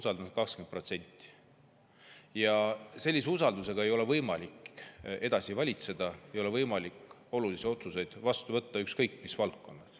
Sellise usalduse ei ole võimalik edasi valitseda, ei ole võimalik olulisi otsuseid vastu võtta, ükskõik mis valdkonnas.